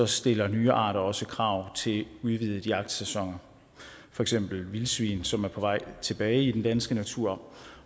stiller nye arter også krav til en udvidet jagtsæson for eksempel vildsvin som er på vej tilbage i den danske natur